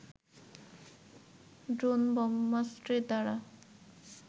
দ্রোণ ব্রহ্মাস্ত্রের দ্বারা